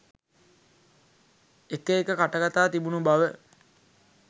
එක එක කටකතා තිබුණු බව